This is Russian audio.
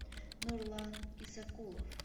нурлан исакулов